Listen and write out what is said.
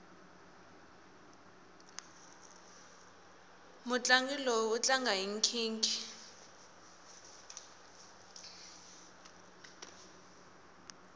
mutlangi loyi u tlanga hi nkhinkhi